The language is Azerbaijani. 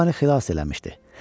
O məni xilas eləmişdi.